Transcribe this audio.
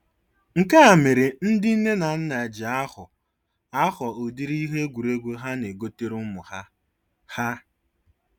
Nke a mere ndị nne na nna ji ahọ ahọ ụdịrị ihe egwuregwu ha na-egotere ụmụ ha. ha.